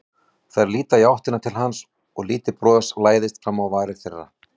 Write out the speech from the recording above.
Þær líta í áttina til hans og lítið bros læðist fram á varir þeirra.